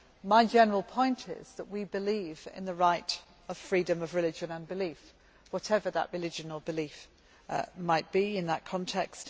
My general point is that we believe in the right of freedom of religion and belief, whatever that religion or belief might be in that context.